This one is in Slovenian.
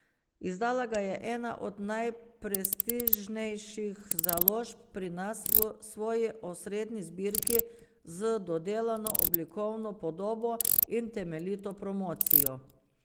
Izdala ga je ena od najprestižnejših založb pri nas, v svoji osrednji zbirki, z dodelano oblikovno podobo in temeljito promocijo.